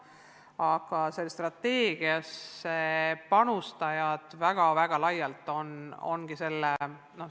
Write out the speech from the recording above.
Aga sellesse strateegiasse panustamine on väga laialdane.